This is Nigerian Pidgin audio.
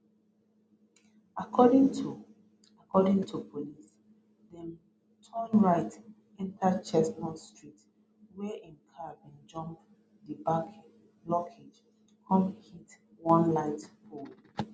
according to according to police dem turn right enta chestnut street wia im car bin jump di back blockade con hit one light pole